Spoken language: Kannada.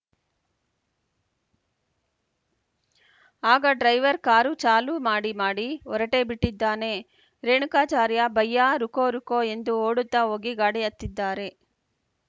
ಆಗ ಡ್ರೈವರ್‌ ಕಾರು ಚಾಲು ಮಾಡಿ ಮಾಡಿ ಹೊರಟೇಬಿಟ್ಟಿದ್ದಾನೆ ರೇಣುಕಾಚಾರ್ಯ ಭಯ್ಯಾ ರುಕೋ ರುಕೋ ಎಂದು ಓಡುತ್ತಾ ಹೋಗಿ ಗಾಡಿ ಹತ್ತಿದ್ದಾರೆ